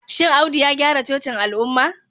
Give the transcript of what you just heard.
shin Audu ya gyara cocin al'umma?.